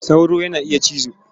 Sauro yana iya cizo.